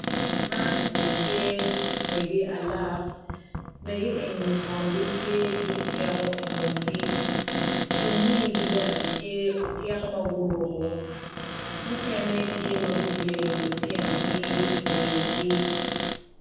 Man eni tye mege alok mege eni kono gitye ki tiko i ngutgi i but wigi bene tye tiko ma guruko